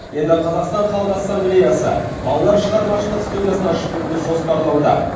енді қазақстан халық ассамблеясы балалар шығармашылық студиясын ашып беруді жоспарлауда